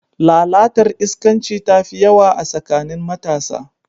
Lalatar iskanci tafi yawa a tsakanin matasa.